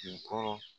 Kun kɔrɔ